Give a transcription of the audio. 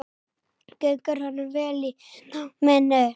Gengur honum vel í náminu?